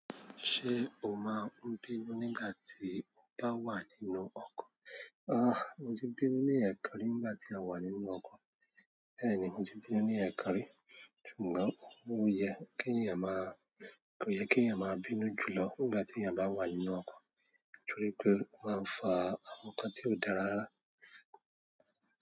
Ṣé o máa n bínú nígbà tí o bá wà nínú ọkọ̀? Ah! Mo ti bínú ní ẹ̀ekan rí nígbà tí a wà nínú ọkọ̀. Bẹ́ẹ̀ni mo ti bínú ní ẹ̀ekan rí, ṣùgbọ́n ó yẹ kí ènìyàn maá, ko ye ki eeyan maa bínú jùlọ nígbà tí èeyàn bá wà nínú ọkọ̀ torí pé ó máa n fa àwọn nǹkan tí ó dára rárá.